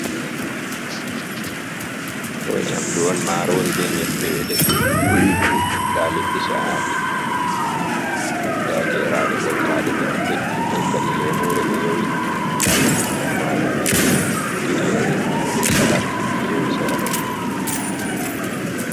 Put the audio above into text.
Ɗo nyamdu on marori be nyebbe ɓe defi, nda liɗɗi cha’aɗi nda geraɗe ɓoltaɗe ɓe heie ta’i lemure ɓe yowi nda ɓe heƴi tumatur be tingere be salak ɓe yowi sera ɗon.